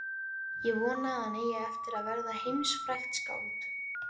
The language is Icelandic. Ég vona að hann eigi eftir að verða heimsfrægt skáld.